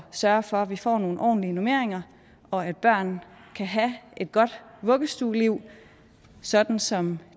sørge for at vi får nogle ordentlige normeringer og at børn kan have et godt vuggestueliv sådan som